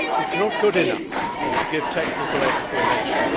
It is not good enough to give technical explanations.